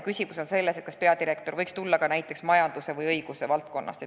Küsimus on selles, kas peadirektori asetäitja võiks tulla ka näiteks majanduse või õiguse valdkonnast.